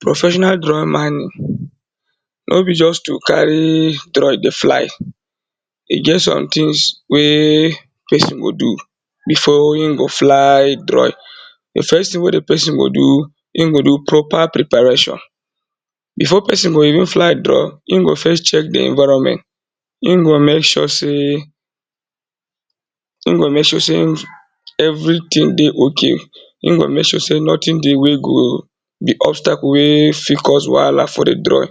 Professional drone mining, nor be just to carry drone dey fly, e get some things wey person go do before e go fly drone, di first thing wey di person go do, im go do proper preparation, before person go even fly drone, in go first check di environment, im go make sure sey, im go make sure sey everything dey okay, im go make sure sey nothing dey go be obstacle wey fit cause wahala for di drone.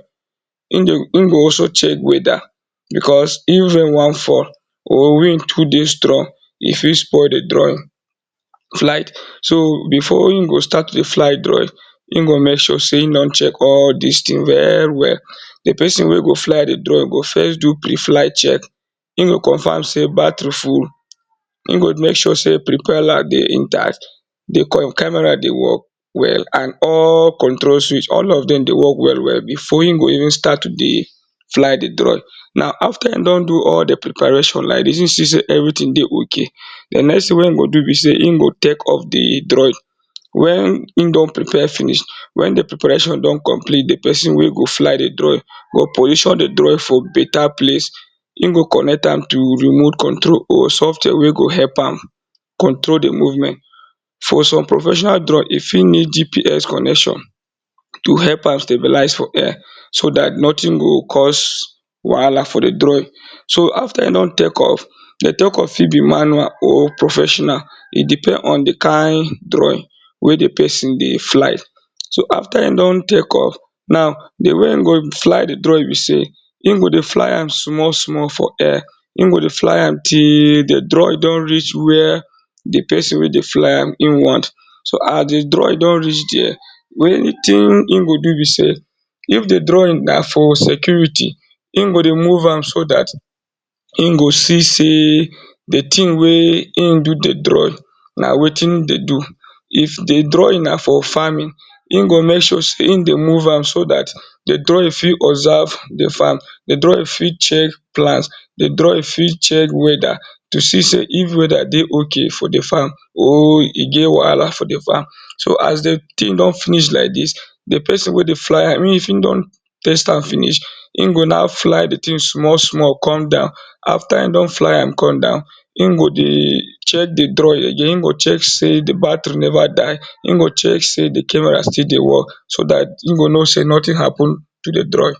Im go also check weather because if rain wan fall or wind too dey strong, e fit spoil di drone flight. So before im go start to dey fly drone im go make sure sey im don check all dis things well well. Di person wey go fly di drone e go first do pre-flight check, in go confirm sey battery full, in go make sure sey propeller dey intact, camera dey work well, and all control switch, all of dem dey work well well, before in go even start to dey fly di drone. Now after in don do all di preparation like dis, if in see sey everything dey okay, di next thing wey in go do be sey, in go take off di drone, wen in don prepare finish, wen di preparation don complete di person wey go fly di drone go position di drone for better place, in go connect am to remote control or software wey go help am control di movement. For some professional drone e fit need GPS connection to help am stabilize for air so dat nothing go cause wahala for di drone. So after in don take off, di take off fit be manual, or professional, e depend on di kind drone wey di person dey fly. So after in don take off, now di way in go fly di drone be sey, in go dey fly am small small for air, in go dey fly am till di drone don reach where di person wey dey fly am, e want. So as di drone don reach there, wetin im go do be sey if di drone na for security, in go dey move am, so dat im go see sey, di thing wey in do di drone na wetin in dey do. If di drone na for farming in go make sure sey in dey move am, so dat di drone fit observe di farm, di drone fit check plants, di drone fit check weather to see sey if weather dey okay for di farm or e get wahala for di farm. So as di thing don finish like dis, di person wey dey fly am if in don test am finish, in go now fly di thing up small small come down, after in don fly am come down, in go dey check di drone again, in go check sey battery never die, in go check sey di camera still dey work so dat in go know sey nothing happen to di drone.